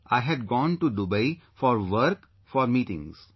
I had gone to Dubai for work; for meetings